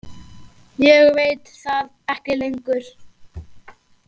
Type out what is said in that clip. Ég veit það ekki lengur.